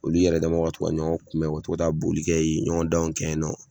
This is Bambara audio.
Olu yɛrɛ damaw ka to ka ɲɔgɔn kunbɛn u ka to ka taa bolikɛ yen ɲɔgɔndanw kɛ yen nɔ